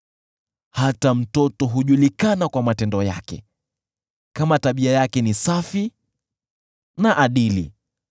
Hata mtoto hujulikana kwa matendo yake, kama tabia yake ni safi na adili.